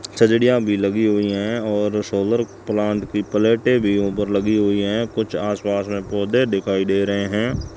चाचीडियां भी लगीं हुईं हैं और सोलर प्लांट की प्लेटें भी ऊपर लगी हुईं हैं कुछ आसपास में पौधे दिखाई दे रहे हैं।